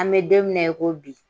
An mɛ don min na, i ko bi